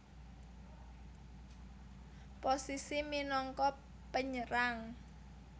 Posisi minangka penyerang